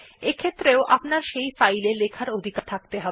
এক্ষেত্রেও আপনার সেই ফাইল এ লেখার অধিকার থাকতে হবে